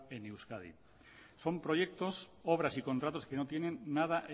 en euskadi son proyectos obras y contratos que no tienen nada